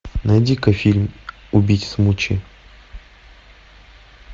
найди ка фильм убить смучи